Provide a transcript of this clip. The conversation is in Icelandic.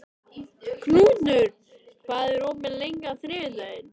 Knútur, hvað er opið lengi á þriðjudaginn?